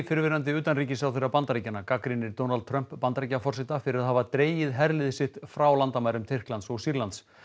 fyrrverandi utanríkisráðherra Bandaríkjanna gagnrýnir Donald Trump Bandaríkjaforseta harðlega fyrir að hafa dregið herlið sitt frá landamærum Tyrklands og Sýrlands